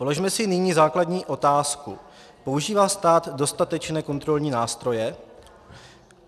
Položme si nyní základní otázku: Používá stát dostatečné kontrolní nástroje?